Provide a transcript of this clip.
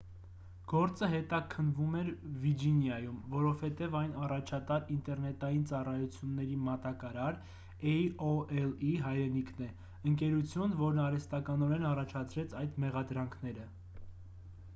գործը հետաքննվում էր վիջինիայում որովհետև այն առաջատար ինտերնետային ծառայությունների մատակարար էյ-օ-էլ-ի հայրենիքն է ընկերություն որն արհեստականորեն առաջացրեց այդ մեղադրանքները